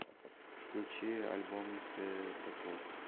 включи альбом цветокор